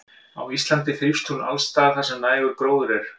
Á Íslandi þrífst hún alls staðar þar sem nægur gróður er.